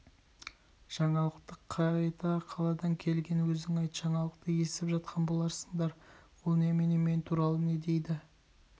жаңалықты қайта қаладан келген өзің айт жаңалықты естіп жатқан боларсыңдар ол немене мен туралы не дейді